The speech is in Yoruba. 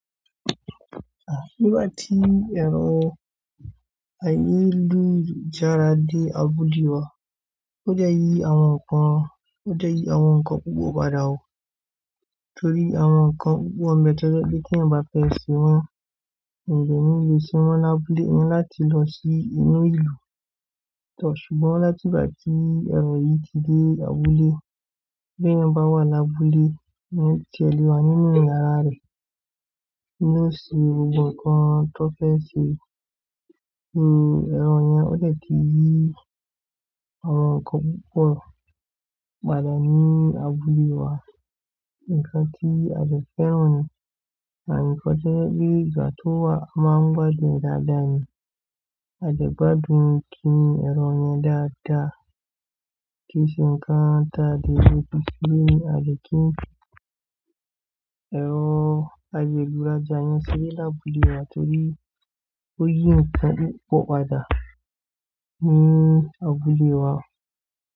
À, nígbà tí èrò ayélujára dé abúlé wa, ó dẹ̀ yí àwọn nǹkan, ó dẹ̀ yí àwọn nǹkan púpọ̀ padà o torí àwọn nǹkan púpọ̀ ní bẹ̀ tó jẹ́ pé tí èèyàn bá fẹ́ ṣe wọ́n, ènìyàn ò ní le ṣé ní wọ́n lábúlé, ó ní láti lọ sí inú ìlú. Ṣùgbọ́n láti ìgbà tí èrò yìí ti dé abúlé, bí ẹ̀yin bá wà lábúlé, èèyàn ti ẹ̀ lè wà nínú yàrá rẹ̀, kí ó ṣe gbogbo nǹkan tó fẹ́ ṣe nínú èrò yẹn ó dẹ̀ kí yí àwọn nǹkan púpọ̀ padà ní abúlé wa. Nǹkan tí a dẹ̀ fẹ́ràn ni, and nǹkan tó jẹ́ pé ìgbà tó wà a máa ń gbádùn ẹ̀ dáadáa ni, a dẹ̀ gbádùn kíni èrò yẹn dáadáa, kì í ṣe nǹkan ta lè kí èrò ayélujára yẹn ṣe rí lábúlé wa torí ó yí nǹkan púpọ̀ padà ní abúlé wa.